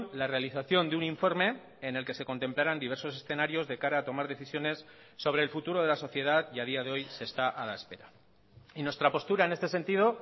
la realización de un informe en el que se contemplaran diversos escenarios de cara a tomar decisiones sobre el futuro de la sociedad y a día de hoy se está a la espera y nuestra postura en este sentido